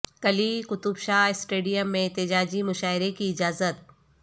Quli Qutb Shah stadium میں احتجاجی مشاعرہ کی اجازت